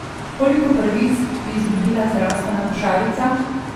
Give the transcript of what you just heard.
Koliko pravic bi izgubila zdravstvena košarica?